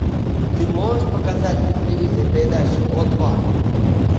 ты можешь показать на телевизоре передачу о два